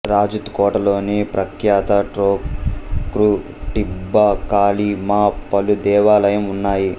రాజూత్ కోటలోని ప్రఖ్యాత టొక్రూ టిబ్బా కాలి మా పలు దేవాలయం ఉన్నాయి